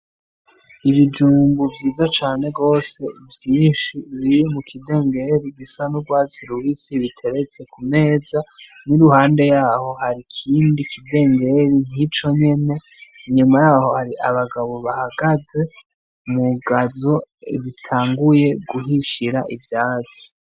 Ibijumbu vyiza cane gose vyinshi biri mu kidengeri gisa n'urwatsi rubisi biteretse ku meza n'iruhande yaho hari ikindi kidengeri nk'ico nyene, nyuma yaho hari abagabo bahagaze mu gazo zitanguye guhishira ivyatsi.